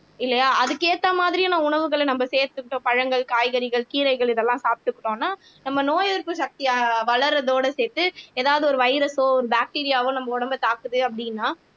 இல்லையா அதுக்கு ஏத்த மாதிரியான உணவுகளை நம்ம சேர்த்துக்கிட்டோம் பழங்கள் காய்கறிகள் கீரைகள் இதெல்லாம் சாப்பிட்டுக்கிட்டோம்னா நம்ம நோய் எதிர்ப்பு சக்தி ஆஹ் வளர்றதோட சேர்த்து ஏதாவது ஒரு வைரஸோ ஒரு பாக்டீரியாவோ நம்ம உடம்பை தாக்குது அப்படின்னா